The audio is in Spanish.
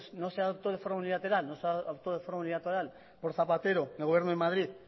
no se adoptó de forma unilateral por zapatero en el gobierno de madrid